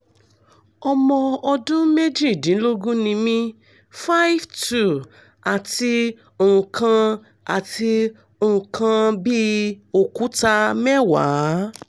ọmọ ọdún méjìdínlógún ni mí 5'2" àti nǹkan àti nǹkan bí òkúta mẹ́wàá